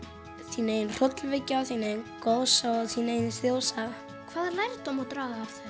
þín eigin hrollvekja þín eigin goðsaga og þín eigin þjóðsaga hvaða lærdóm má draga af